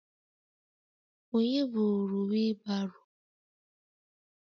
Onye buru wheelbarrow?